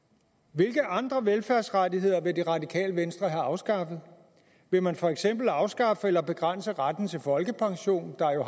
hvilke andre velfærdsrettigheder vil radikale venstre have afskaffet vil man for eksempel afskaffe eller begrænse retten til folkepension der jo